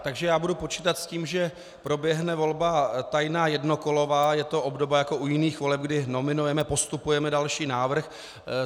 Takže já budu počítat s tím, že proběhne volba tajná jednokolová, je to obdoba jako u jiných voleb, kdy nominujeme, postupujeme další návrh.